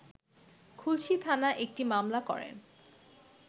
খুলশী থানায় একটি মামলা করেন